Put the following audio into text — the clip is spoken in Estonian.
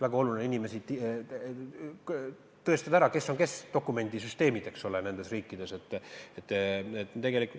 Väga oluline on ju teiste riikide dokumendisüsteemide abil ära tõestada, kes on kes.